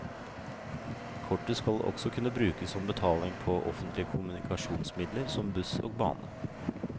Kortet skal også kunne brukes som betaling på offentlige kommunikasjonsmidler som buss og bane.